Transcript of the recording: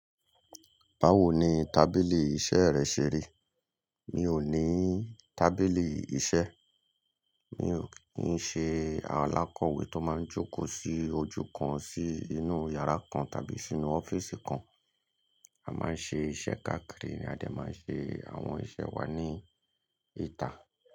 Báwo ni tábìlì iṣẹ́ rẹ ṣe rí? Mi ò ní tábìlì iṣẹ́. Mi ò ní ṣe alákọ̀wé tó máa ń jókòó sí ojú kan sí inú yàrá kan tàbí sínú ọ́fíísì kan. A máa ń ṣe iṣẹ́ káàkiri ni a dẹ̀ máa ń ṣe àwọn iṣẹ́ wa ní ìta.